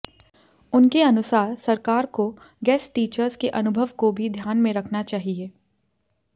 उनके अनुसार सरकार को गेस्ट टीचर्स के अनुभव को भी ध्यान में रखना चाहिए